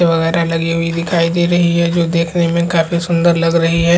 वगैर लगी हुई दिखाई दे रही है जो देखने में काफी सुन्दर लग रही है।